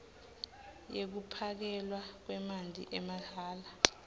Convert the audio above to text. yekuphakelwa kwemanti amahhala